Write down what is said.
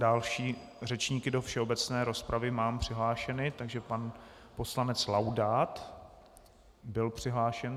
Další řečníky do všeobecné rozpravy mám přihlášené, takže pan poslanec Laudát byl přihlášen.